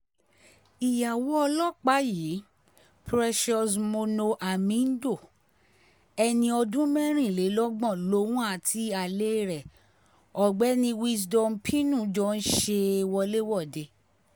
ìyàwó ọlọ́pàá yìí precious moono hamindo ẹni ọdún mẹ́rìnlélọ́gbọ̀n lòun àti alẹ́ rẹ̀ ọ̀gbẹ́ni wisdom pino jọ ń ṣe wọléwọ̀de